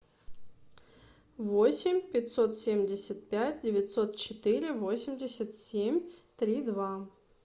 восемь пятьсот семьдесят пять девятьсот четыре восемьдесят семь три два